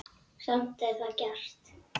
Samt er það gert.